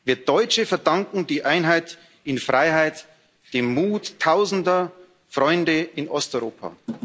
Wir Deutschen verdanken die Einheit in Freiheit dem Mut tausender Freunde in Osteuropa.